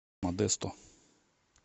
модесто